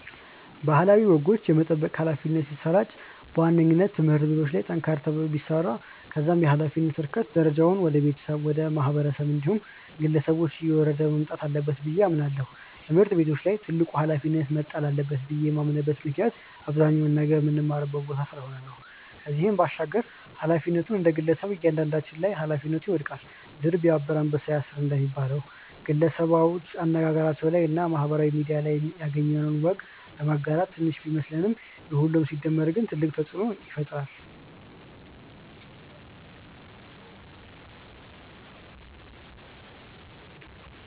ባህላዊ ወጎች የመጠበቅ ኃላፊነት ሲሰራጭ በዋነኝነት ትምህርት ቤቶች ላይ ጠንከር ተብሎ ቢሰራ ከዛም የኃላፊነት እርከን ደረጃው ወደ ቤተሰብ፣ ወደ ማህበረሰብ እንዲሁም ግለሰቦች እየወረደ መምጣት አለበት ብዬ አምናለው። ትምህርት ቤቶች ላይ ትልቁ ኃላፊነት መጣል አለበት ብዬ የማምንበት ምክንያት አብዛኛውን ነገር ምንማርበት ቦታ ስለሆነ ነው። ከዚህም ባሻገር ኃላፊነቱ እንደግለሰብ እያንዳንዳችን ላይ ኃላፊነቱ ይወድቃል። 'ድር ቢያብር አንበሳ ያስር' እንደሚባለው፣ ግለሰቦች አነጋገራችን ላይ እና ማህበራዊ ሚድያ ላይ ያገኘነውን ወግ በማጋራት ትንሽ ቢመስለንም የሁሉም ሲደመር ግን ትልቅ ተጽእኖ ይፈጥራል።